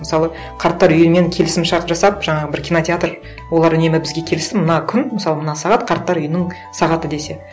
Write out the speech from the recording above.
мысалы қарттар үйі мен келісімшарт жасап жаңағы бір кинотеатр олар үнемі бізге келсін мына күн мысалы мына сағат қарттар үйінің сағаты десе